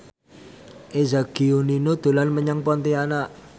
Eza Gionino dolan menyang Pontianak